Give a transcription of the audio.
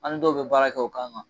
An ni dɔw be baara kɛ o kan kan.